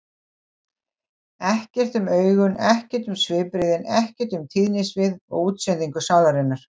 Ekkert um augun, ekkert um svipbrigðin, ekkert um tíðnisvið og útsendingu sálarinnar.